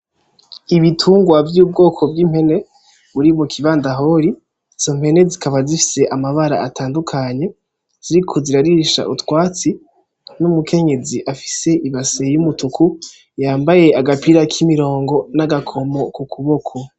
Ibitungwa vya ubwoko bw'impene buri muki bandahori izo mpene zikaba zifise amabara atandukanye ziriko zirarisha utwo twatsi n'umukenyezi afise ibase ya umutuku yambaye agapira ka imirongo yambaye nagakomo kukuboko.